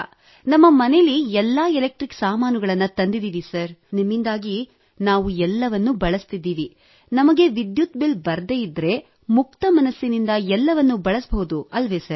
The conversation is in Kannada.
ನಮ್ಮ ಮನೆಯಲ್ಲಿ ಎಲ್ಲಾ ಎಲೆಕ್ಟ್ರಿಕ್ ಸಾಮಾನುಗಳನ್ನು ತಂದಿದ್ದೇವೆ ಸರ್ ನಾವು ಎಲ್ಲವನ್ನೂ ಬಳಸುತ್ತಿದ್ದೇವೆ ನಮಗೆ ವಿದ್ಯುತ್ ಬಿಲ್ ಬರದಿದ್ದರೆ ಮುಕ್ತ ಮನಸ್ಸಿನಿಂದ ಎಲ್ಲವನ್ನೂ ಬಳಸಬಹುದು ಅಲ್ಲವೇ ಸರ್